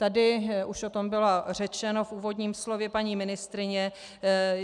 Tady už o tom bylo řečeno v úvodním slově paní ministryně.